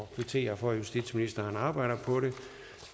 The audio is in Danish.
kvitterer for at justitsministeren arbejder på det